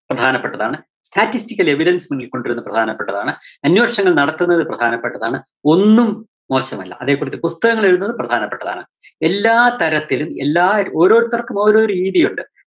പ്രധാനപ്പെട്ടതാണ്. statistical ല്‍ evidence ന് മുന്നില്‍ കൊണ്ടുവരുന്നത് പ്രധാനപ്പെട്ടതാണ്, അന്വേഷണങ്ങള്‍ നടത്തുന്നത് പ്രധാനപെട്ടതാണ്, ഒന്നും മോശമല്ല. അതെക്കുറിച്ച് പുസ്തകങ്ങള്‍ എഴുതുന്നത്‌ പ്രധാനപ്പെട്ടതാണ്. എല്ലാത്തരത്തിലും എല്ലാ ഓരോരുത്തര്‍ക്കും ഓരോ രീതിയൊണ്ട്